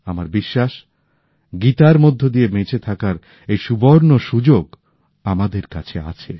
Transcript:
আমার বিশ্বাস গীতার মধ্যে দিয়ে বেঁচে থাকার এই সুবর্ণ সুযোগ আমাদের কাছে আছে